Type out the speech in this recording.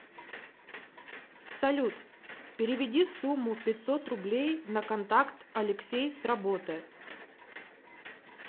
салют переведи сумму пятьсот рублей на контакт алексей с работы